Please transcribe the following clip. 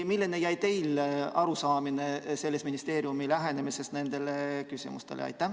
Milline arusaamine teile jäi ministeeriumi lähenemisest nendele küsimustele?